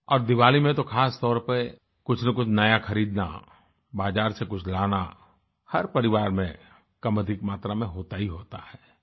और दीवाली में तो खासतौर पर कुछनकुछ नया खरीदना बाजार से कुछ लाना हर परिवार में कमअधिक मात्रा में होता ही होता है